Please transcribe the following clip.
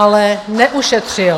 Ale neušetřil.